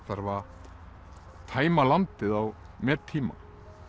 þarf að tæma landið á mettíma